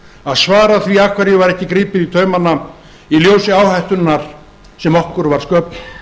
að svara því af hverju var ekki gripið í taumana í ljósi áhættunnar sem okkur var sköpuð